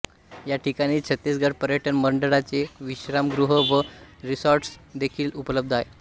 या ठिकाणीच छत्तीसगड पर्यटन मंडळाचे विश्रामगृह व रिसॉर्ट्स देखील उपलब्ध आहेत